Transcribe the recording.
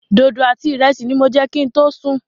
Dodo àti ìrẹsì ní mo jẹ kin tó sùn.